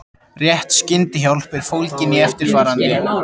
Rétt skyndihjálp er fólgin í eftirfarandi